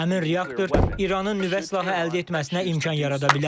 Həmin reaktor İranın nüvə silahı əldə etməsinə imkan yarada bilər.